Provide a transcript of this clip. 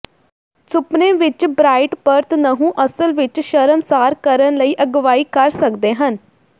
ਸੁਪਨੇ ਵਿੱਚ ਬ੍ਰਾਇਟ ਪਰਤ ਨਹੁੰ ਅਸਲ ਵਿਚ ਸ਼ਰਮਸਾਰ ਕਰਨ ਲਈ ਅਗਵਾਈ ਕਰ ਸਕਦੇ ਹਨ